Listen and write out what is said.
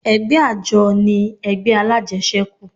Ẹgbẹ́ àjọ ni ẹgbẹ́ alájẹsẹ́kù